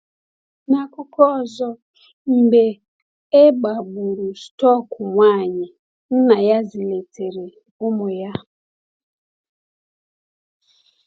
N’akụkọ ọzọ, mgbe e gbagburu stọk nwanyị, nna ya zụlitere ụmụ ya.